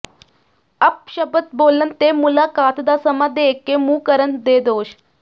ਅਪਸ਼ਬਦ ਬੋਲਣ ਤੇ ਮੁਲਾਕਾਤ ਦਾ ਸਮਾਂ ਦੇ ਕੇ ਮੁੱਕਰਨ ਦੇ ਦੋਸ਼